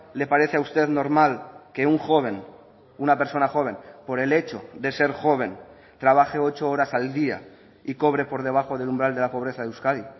le parece a usted normal que un joven una persona joven por el hecho de ser joven trabaje ocho horas al día y cobre por debajo del umbral de la pobreza de euskadi